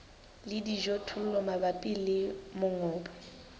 le dijothollo mabapi le mongobo